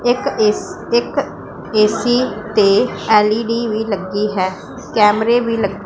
ਇੱਕ ਏ_ਸੀ ਇੱਕ ਏ_ਸੀ ਤੇ ਐਲ_ਈ_ਡੀ ਵੀ ਲੱਗੀ ਹੈ ਕੈਮਰੇ ਵੀ--